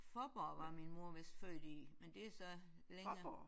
Fåborg var min mor vist født i men det er så længere